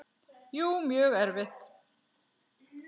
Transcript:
Jú, mjög erfitt.